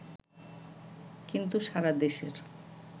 কিন্তু সারা দেশের